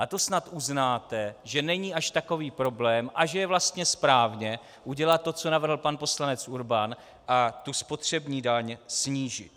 A to snad uznáte, že není až takový problém a že je vlastně správně udělat to, co navrhl pan poslanec Urban, a tu spotřební daň snížit.